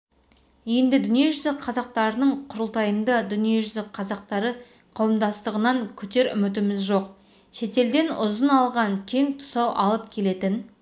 енді дүниежүзі қазақтарының құрылтайында дүниежүзі қазақтары қауымдастығынан күтер үмітіміз жоқ шетелден ұзын алған кең тұсау алып келетін